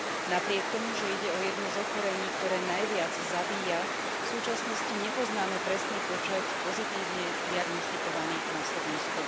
Napriek tomu, že ide o jedno z ochorení, ktoré najviac zabíja, v súčasnosti nepoznáme presný počet pozitívne diagnostikovaných na Slovensku.